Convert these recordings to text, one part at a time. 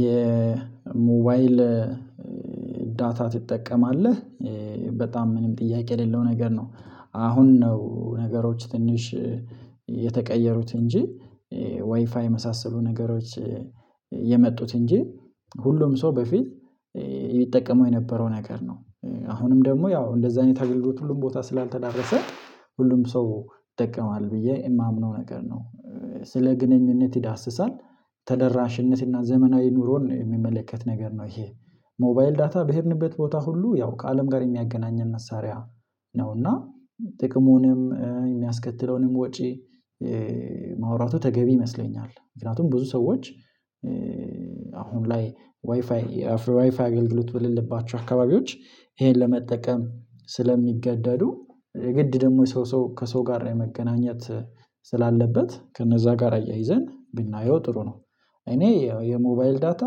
የሞባይል ዳታ ትጠቀማለህ? በጣም ምንም ጥያቄ የሌለው ነገር ነው። አሁን ነው ነገሮች ትንሽ የተቀየሩት እንጂ ዋይፋ የመሳሰሉ ነገሮች የመጡት እንጂ ሁሉም ሰው በፊት የሚጠቀመው የነበረው ነገር ነው። አሁንም ደግሞ ያው እንደዛ አይነት አገልግሎት ሁሉም ቦታ ስላልተዳረሰ ሁሉም ሰው ይጠቀማል ብዬ የማምነው ነገር ነው ስለ ግንኙነት ይዳስሳል፤ ተደራሽነትና ዘመናዊ ኑሮን የሚመለከት ነገር ነው ይሄ ሞባይል ዳታ በሄድንበት ቦታ ሁሉ ያው ከአለም ጋር የሚያገናኘን መሳሪያ ነው፤ እና ጥቅሙንም የሚያስከትለውንም ወጪ ማውራቱ ተገቢ ይመስለኛል። ምክንያቱም ብዙ ሰዎች አሁን ላይ ዋይፋይ ዋይፋይ አገልግሎት በሌለባቸው አካባቢዎች ይሄን ለመጠቀም ስለሚገደዱ ግድ ደግሞ የሰው ሰው ከሰው ጋር መገናኘት ስላለበት ከነዛ ጋር አያይዘን ብናየው ጥሩ ነው። እኔ የሞባይል ዳታ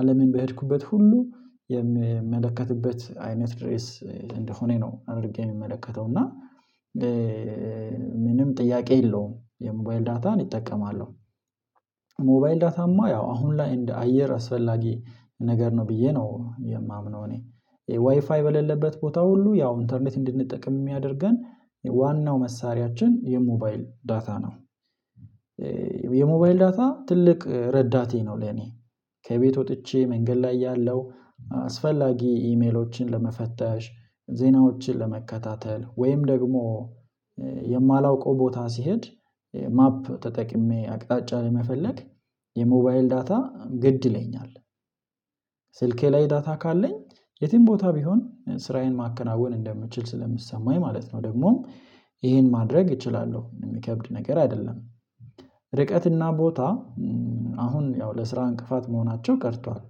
አለምን በሄድኩበት ሁሉ የምመለከትበት አይነት ድሬስ እንደሆነ ነው አድርጌ የምመለከተው እና ምንም ጥያቄ የለውም የሞባይል ዳታን እጠቀማለሁ ሞባይል ዳታማ ያው አሁን ላይ እንደ አየር አስፈላጊ ነገር ነው ብዬ ነው የማምነው እኔ። ዋይፋይ በሌለበት ቦታ ሁሉ ያው ኢንተርኔት እንድንጠቅም የሚያደርገን ዋናው መሳሪያችን የሞባይል ዳታ ነው። የሞባይል ዳታ ትልቅ ረዳቴ ነው ለኔ። ከቤት ወጥቼ መንገድ ላይ ያለው አስፈላጊ ኢሜሎችን ለመፈተሽ ዜናዎችን ለመከታተል ወይም ደግሞ የማላውቀው ቦታ ሲሄድ ማፕ ተጠቅሜ አቅጣጫ ለመፈለግ የሞባይል ዳታ ግድ ይለኛል። ስልኬ ላይ ዳታ ካለኝ የትም ቦታ ቢሆን ስራዬን ማከናወን እንደምችል ስለሚሰማኝ ማለት ነው ደግሞ ይሄን ማድረግ እችላለሁ። የሚከብድ ነገር አይደለም። ርቀትና ቦታ አሁን ያው ለስራ እንቅፋት መሆናቸው ቀርቷል።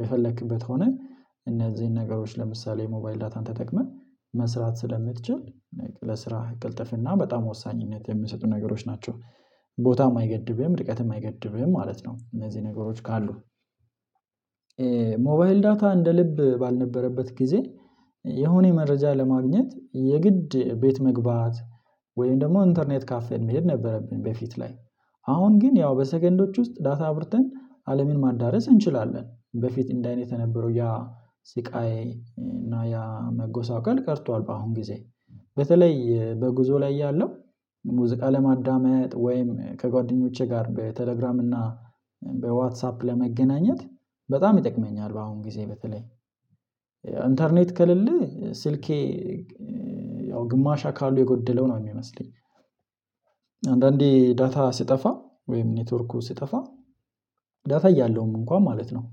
የፈለክበት ሆነህ እነዚህን ነገሮች ለምሳሌ ሞባይል ዳታን ተጠቅመህ መስራት ስለምትችል ለስራ ቅልጥፍና በጣም ወሳኝነት የሚሰጡ ነገሮች ናቸው። ቦታም አይገድብህም ርቀትም አይገድብህም ማለት ነው እነዚህ ነገሮች ካሉ። ሞባይል ዳታ እንደ ልብ ባልነበረበት ጊዜ የሆነ መረጃ ለማግኘት የግድ ቤት መግባት ወይም ደግሞ ኢንተርኔት ካፌን የሚሄድ ነበረብኝ በፊት ላይ አሁን ግን ያው በሰገንዶች ውስጥ ዳታ አብርተን አለምን ማዳረስ እንችላለን። በፊት እንደዚህ አይነት የነበረው ያ ስቃይ እና ያ መጎሳቀል ቀርቷል በአሁን ጊዜ። በተለይ በጉዞ ላይ ያለው ሙዚቃ ለማዳመጥ ወይም ከጓደኞቼ ጋር በቴሌግራም እና በዋትሳፕ ለመገናኘት በጣም ይጠቅመኛል በአሁን ጊዜ በተለይ ኢንተርኔት ከሌለ ስልኬ ያው ግማሽ አካሉ የጎደለው ነው የሚመስለኝ። አንዳንዴ ዳታ ሲጠፋ ወይም ኔትወርኩ ሲጠፋ ዳታ እያለውም እንኳን ማለት ነው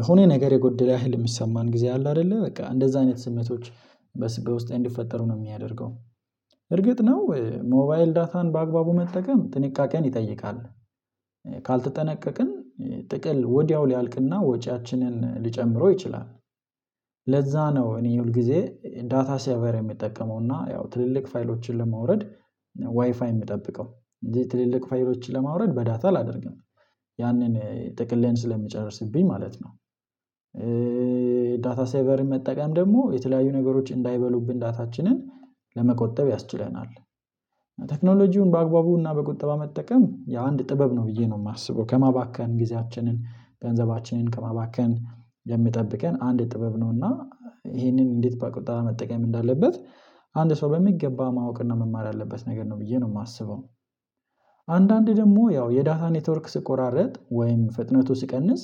የሆነ ነገር የጎደለ ያህል የሚሰማን ጊዜ አለ አይደለ በቃ እንደዛ አይነት ስሜቶች በውስጤ እንዲፈጠሩ ነው የሚያደርገው። እርግጥ ነው ሞባይል ዳታን በአግባቡ መጠቀም ጥንቃቄን ይጠይቃል። ካልተጠነቀቅን ጥቅል ወዲያው ሊያልቅና ወጪያችንን ሊጨምረው ይችላል። ለዛ ነው እኔ ሁል ጊዜ ዳታ ሴቨር የምጠቀመው እና ያው ትልልቅ ፋይሎችን ለማውረድ ዋይፋይ የምጠብቀው እንጂ ትልልቅ ፋይሎችን ለማውረድ በዳታ አላደርግም። ያንን ጥቅሌን ስለሚጨርስብኝ ማለት ነው። ዳታ ሴቨር መጠቀም ደግሞ የተለያዩ ነገሮች እንዳይበሉብን ዳታችንን ለመቆጠብ ያስችለናል። ቴክኖሎጂውን በአግባቡና በቁጠባ መጠቀም የአንድ ጥበብ ነው ብዬ ነው የማስበው ከማባከን ጊዜያችንን ገንዘባችንን ከማባከን የምጠብቀን አንድ ጥበብ ነውና ይሄንን እንዴት በቁጠባ መጠቀም እንዳለበት አንድ ሰው በሚገባ ማወቅና መማር ያለበት ነገር ነው ብዬ ነው የማስበው። አንዳንዴ ደግሞ ያው የዳታ ኔትወርክ ሲቆራርጥ ወይም ፍጥነቱ ሲቀንስ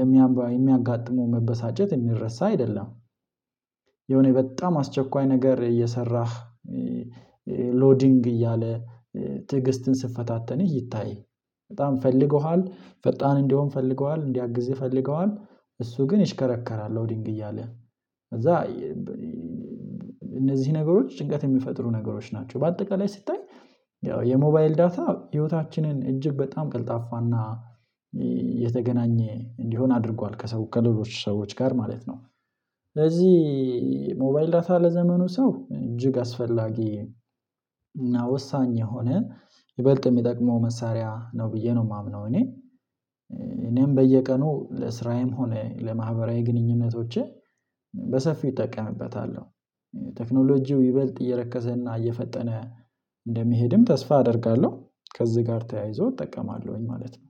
የሚያጋጥመው መበሳጨት የሚረሳ አይደለም። የሆነ በጣም አስቸኳይ ነገር እየሰራህ ሎዲንግ እያለ ትዕግስትን ስትፈታተንህ ይታይህ። በጣም ፈልገዋል ፈጣን እንደሆን ፈልገዋል እንዲያግዝህ ፈልገዋል እሱ ግን ይሽከረከራል ሎዲንግ እያለ ከዛ እነዚህ ነገሮች ጭንቀት የሚፈጥሩ ነገሮች ናቸው በአጠቃላይ ስታይ ያው የሞባይል ዳታ ህይወታችንን እጅግ በጣም ቀልጣፋና የተገናኘ እንዲሆን አድርጓል ከሰው ከሌሎች ሰዎች ጋር ማለት ነው። ስለዚህ ሞባይል ዳታ ለዘመኑ ሰው እጅግ አስፈላጊ እና ወሳኝ የሆነን ይበልጥ የሚጠቅመው መሳሪያ ነው ብዬ ነው የማምነው እኔ። እኔም በየቀኑ ለስራዬም ሆነ ለማህበራዊ ግንኙነቶቼ በሰፊው እጠቀምበታለሁ። ቴክኖሎጂው ይበልጥ እየረከሰና እየፈጠነ እንደሚሄድም ተስፋ አደርጋለሁ። ከዚህ ጋር ተያይዞ እጠቀማለሁኝ ማለት ነው